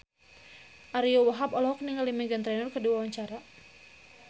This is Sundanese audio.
Ariyo Wahab olohok ningali Meghan Trainor keur diwawancara